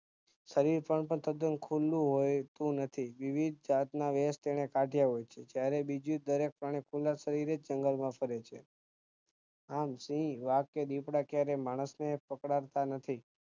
શરીર પર પણ તદ્દન ખલ્લુ હોતું નથી વિવિધ જાતના વેશ તેને કાઢ્યા હોયછે જયારે બીજી દરેક પ્રાણી ખુલ્લા શરીરેજ જંગલમાં ફરે છે આમ સિંહ વાઘ કે દીપડા ક્યારેય માણસને પક્ડતા નથી